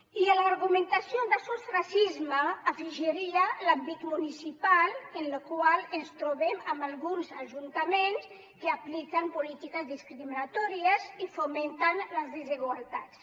i a l’argumentació de sos racisme afegiria l’àmbit municipal en el qual ens trobem amb alguns ajuntaments que apliquen polítiques discriminatòries i fomenten les desigualtats